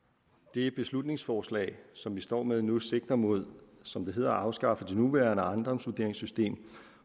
det beslutningsforslag som vi står med nu sigter mod som det hedder at afskaffe det nuværende ejendomsvurderingssystem